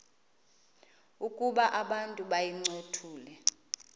ukuba abantu bayincothule